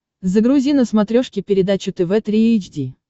загрузи на смотрешке передачу тв три эйч ди